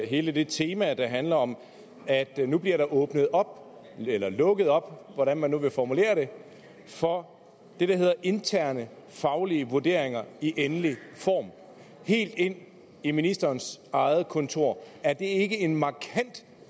hele det tema der handler om at der nu bliver åbnet op eller lukket op hvordan man nu vil formulere det for det der hedder interne faglige vurderinger i endelig form helt ind i ministerens eget kontor er det ikke en markant